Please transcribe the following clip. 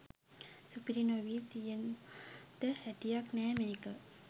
සුපිරි නොවී තියෙන්ඩ හැටියක් නෑ මේක.